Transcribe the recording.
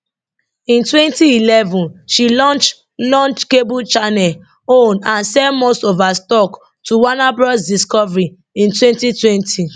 for 2011 she launch launch cable channel own and sell most of her stock to warner bros discovery in 2020